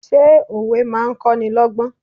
Ṣé òwe máa ń kọ́nilọ́gbọ́n?